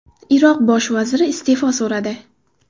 Iroq bosh vaziri iste’fo so‘radi.